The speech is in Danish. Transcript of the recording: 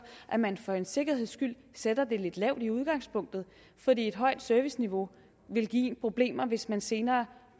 at man for en sikkerheds skyld sætter det lidt lavt i udgangspunktet fordi et højt serviceniveau vil give problemer hvis man senere